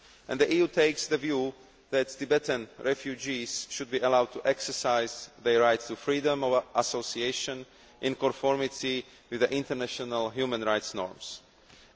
The EU takes the view that Tibetan refugees should be allowed to exercise their right to freedom of association in accordance with international human rights standards.